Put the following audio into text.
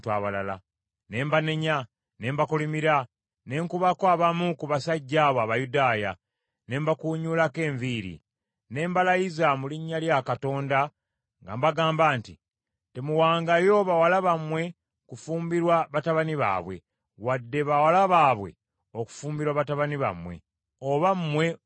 Ne mbanenya ne mbakolimira. Ne nkubako abamu ku basajja abo Abayudaaya, ne mbakuunyuulako enviiri. Ne mbalayiza mu linnya lya Katonda nga mbagamba nti, “Temuwangayo bawala bammwe kufumbirwa batabani baabwe, wadde bawala baabwe okufumbirwa batabani bammwe, oba mmwe mwennyini.